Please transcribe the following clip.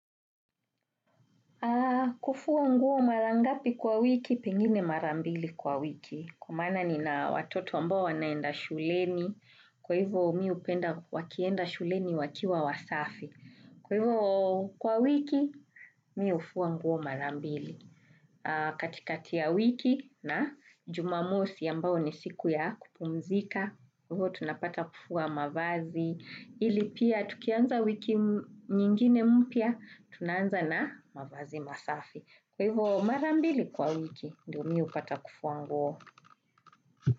Kufua nguo mara ngapi kwa wiki pengine marambili kwa wiki kwa maana ni na watoto ambao wanaenda shuleni kwa hivo mi hupenda wakienda shuleni wakiwa wasafi kwa hivo kwa wiki mi hufua nguo marambili katikatia ya wiki na jumamosi ambayo nisiku ya kupumzika. Kwa hivyo tunapata kufua mavazi, ili pia tukianza wiki nyingine mpya, tunaanza na mavazi masafi. Kwa hivyo marambili kwa wiki, ndio mi hupata kufua nguo.